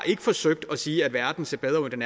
ikke forsøgt at sige at verden ser bedre ud end